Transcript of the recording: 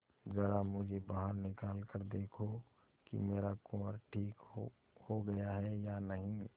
जरा मुझे बाहर निकाल कर देखो कि मेरा कुंवर ठीक हो गया है या नहीं